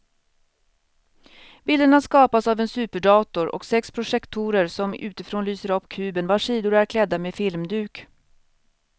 Bilderna skapas av en superdator och sex projektorer som utifrån lyser upp kuben vars sidor är klädda med filmduk.